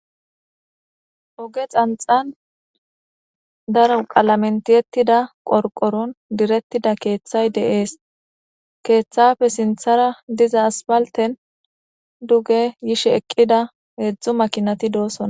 oge xanxan daro qalamentiyettida qorqoron direttida keeththay deees keeththafe sinthara diza aspalten duge yishe eqqida heedzdzu makinati doosona